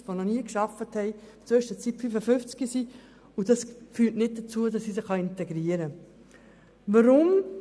Ich habe viele Leute in meinen Projekten, die noch nie gearbeitet haben, in der Zwischenzeit 55-jährig geworden sind und sich nicht integriert haben.